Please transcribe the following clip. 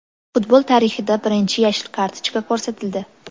Futbol tarixida birinchi yashil kartochka ko‘rsatildi.